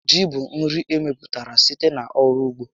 Ji bụ nri emepụtara site n'ọrụ ugbo